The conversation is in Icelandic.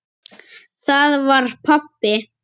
Það var pabbi!